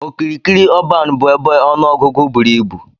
Okirikiri ọban bu ebe ọnụ ọgụgụ buru ibụ.